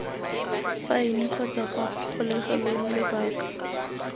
faene kgotsa kwa kgolegelong lobaka